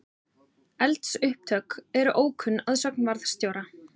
Eldsupptök eru ókunn að sögn varðstjóra